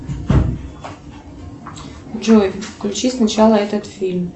джой включи сначала этот фильм